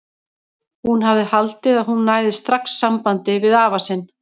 Hún hafði haldið að hún næði strax sambandi við afa sinn.